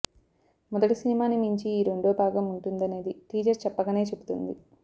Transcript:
మొదటి సినిమాని మించి ఈ రెండో భాగం ఉంటుందనేది టీజర్ చెప్పకనే చెబుతుంది